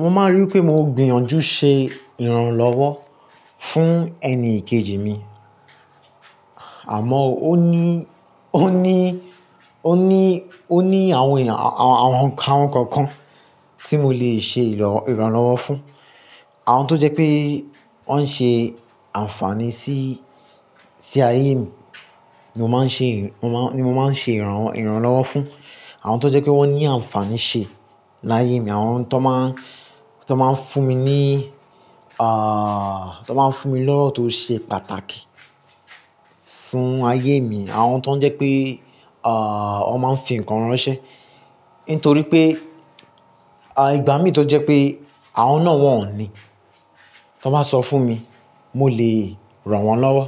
Mo máa n rí wi pé mò ń gbìyànjú ṣe ìrànlọ́wọ́ fún ẹni ìkejì mi. Àmọ́ ó ní, ó ní, ó ní, ó ní àwọn èèyàn, àwọn nǹkan kan kan tí mo lè ṣe ìrànlọ́wọ́ fún. Àwọn tó jẹ́ pé wọ́n ń ṣe àǹfààní sí, sí ayé mi ni mo máa ń ṣe, ni mo máa ń ṣe ìrànlọ́wọ́ fún. Àwọn tó jẹ́ pé wọ́n ní àǹfààní ṣe láyé mi, àwọn tó máa, tó máa ń fún mi ní, ah, tó máa ń fún mi lọ́wọ́ tó ṣe pàtàkì fún ayé mi. Àwọn tó ń jẹ́ pé, ah, wọ́n máa ń fi ǹkan ránṣẹ́. Nítorí pé, ah, ìgbà mí tó jẹ́ pé àwọn náà wọ́n ò ní, tí wọ́n bá sọ fún mi, mo lè ràn wọ́n lọ́wọ́.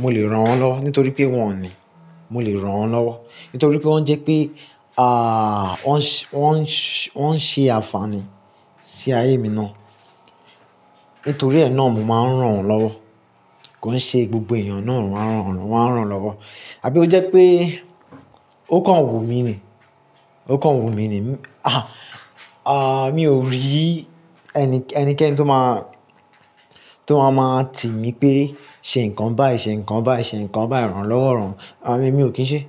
Mo lè ràn wọ́n lọ́wọ́ nítorí pé wọ́n ò ní. Mo lè ràn wọ́n lọ́wọ́ nítorí pé wọ́n jẹ́ pé, ah, wọ́n ń ṣe àǹfààní sí ayé mi ná. Nítorí ẹ́ náà mo máa ń ràn wọ́n lọ́wọ́. Kò ń ṣe gbogbo èèyàn náà ó máa ń ràn wọ́n lọ́wọ́. Àbí ó jẹ́ pé ó kàn wù mí ni. Ó kàn wù mí ni. Ah, ah, mi ò rí ẹnikẹ́ni tó máa, tó máa máa tì mí pé ṣe nǹkan báyìí, ṣe nǹkan báyìí, ṣe nǹkan báyìí, rànlọ́wọ́ ràn. Àmi mi ò kí ń ṣe.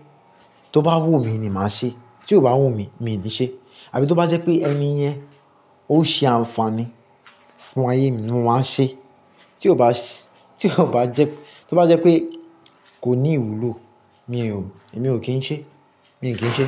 Tó bá wù mí ni màá ṣe. Tí kò bá wù mí, mi ò lè ṣe. Àbí tó bá jẹ́ pé ẹni yẹn ó ṣe àǹfààní fún ayé mi ni mo máa ṣe. Tí kò bá ṣe, tí kò bá jẹ́, tó bá jẹ́ pé kò ní ìwúlò, mi ò, mi ò kí ń ṣe. Mi ò kí ń ṣe.